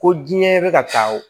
Ko diɲɛ bɛ ka taa o